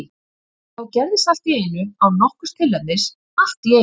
Það gerðist allt í einu, án nokkurs tilefnis, allt í einu.